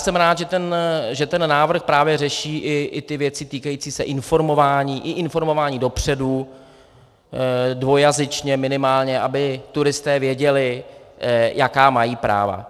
Jsem rád, že ten návrh právě řeší i ty věci týkající se informování, i informování dopředu, dvojjazyčně minimálně, aby turisté věděli, jaká mají práva.